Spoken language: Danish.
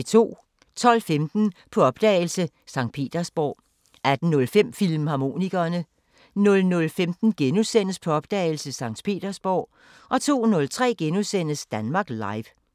12:15: På opdagelse – St. Petersborg 18:05: Filmharmonikerne 00:15: På opdagelse – St. Petersborg * 02:03: Danmark Live *